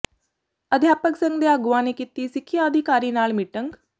ਅਧਿਆਪਕ ਸੰਘ ਦੇ ਆਗੂਆਂ ਨੇ ਕੀਤੀ ਸਿੱਖਿਆ ਅਧਿਕਾਰੀ ਨਾਲ ਮੀਟਿੰਗ